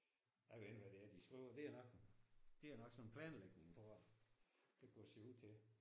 Jeg ved ikke hvad det er de skriver. Ved du hvad? Det er nok sådan noget planlægning tror jeg. Det kunne det se ud til